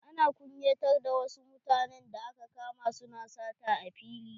Ana kunyatar da wa su mutanen da aka kama su na sata a fili.